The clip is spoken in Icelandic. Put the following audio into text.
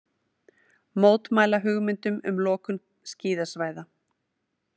Mótmæla hugmyndum um lokun skíðasvæða